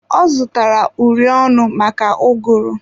Ọ zụtara uri ọnụ maka ụgụrụ.